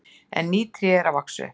En ný tré eru að vaxa upp.